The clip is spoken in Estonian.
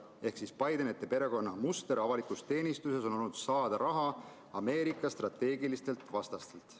Ehk siis Bidenite perekonna, ütleme nii, muster avalikus teenistuses on olnud saada raha Ameerika strateegilistelt vastastelt.